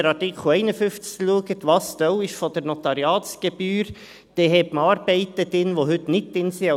Wenn Sie sich den Artikel 51 anschauen, was Teil der Notariatsgebühr ist, dann hat man Arbeiten drin, die heute nicht drin sind.